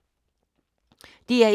DR1